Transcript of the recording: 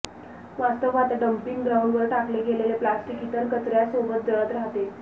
वास्तवात डंपिंग ग्राऊंडवर टाकले गेलेले प्लॅस्टिक इतर कचऱयासोबत जळत राहते